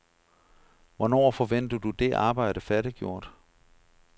Hvornår forventer du det arbejde færdiggjort?